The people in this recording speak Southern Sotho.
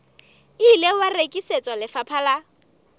ile wa rekisetswa lefapha la